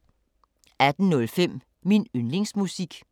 18:05: Min yndlingsmusik